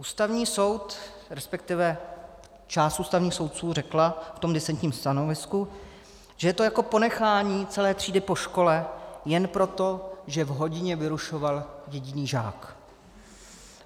Ústavní soud, respektive část ústavních soudců řekla v tom disentním stanovisku, že je to jako ponechání celé třídy po škole jen proto, že v hodině vyrušoval jediný žák.